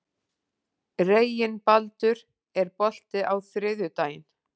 Reginbaldur, er bolti á þriðjudaginn?